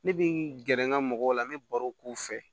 Ne bi gɛrɛ n ga mɔgɔw la n bɛ barow k'u fɛ